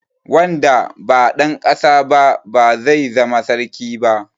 Wanda ba dan ƙasa ba ba zai zama sarki ba.